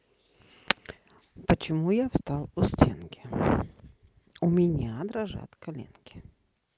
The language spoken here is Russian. почему я встал у стенки у меня дрожат коленки